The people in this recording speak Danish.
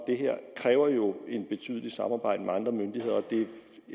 det her kræver jo et betydeligt samarbejde med andre myndigheder og det er